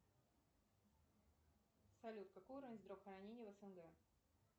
салют какой уровень здравоохранения в снг